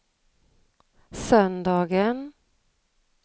söndagen